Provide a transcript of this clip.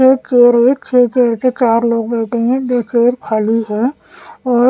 एक चेयर हैएक चेयर ऊपर चार लोग बैठे हैं दो चेयर खाली हैऔर--